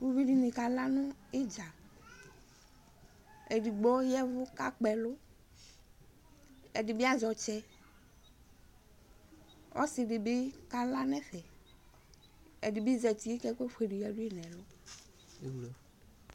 Ʊʋɩɗɩni aƙalanʊ ɩɗja ɔlʊ eɗɩgɓo ɔƴɛʋʊ anŋɩ ɛlʊ ɛɗɩɓɩ azɛ ɔtsɛ ɔsɩɗɩɓɩ ɔƙala nʊ ɛƒɛ ɛɗɩɓɩ ɔzatɩ ɛƙʊƒʊele ƴaɗʊƴi nʊ ɛlʊ